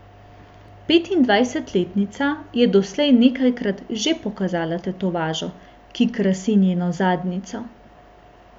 Petindvajsetletnica je doslej nekajkrat že pokazala tetovažo, ki krasi njeno zadnjico.